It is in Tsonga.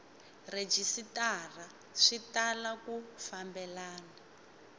rhejisitara swi tala ku fambelena